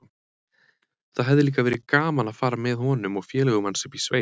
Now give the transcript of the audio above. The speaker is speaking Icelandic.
Það hefði líka verið gaman að fara með honum og félögum hans upp í sveit.